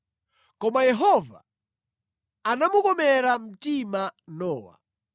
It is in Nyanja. Koma Yehova anamukomera mtima Nowa.